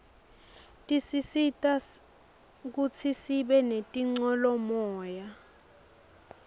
tisisita kutsi sibe nitincolamoya